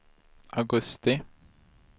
augusti